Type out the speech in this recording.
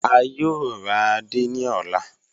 A yòò rà àdé ní ọlá.